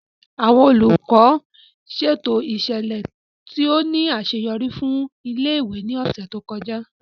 Àwọn Olùkọ́ ṣètò ìṣẹ̀lẹ̀ tó ní àṣeyọrí fún ilé-ìwé ní ọ̀sẹ̀ tó kọjá